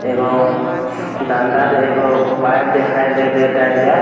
एगो डंडा एगो पाइप दिखाई देता एइजा |